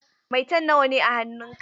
Maitan nawa ne a hannun ka?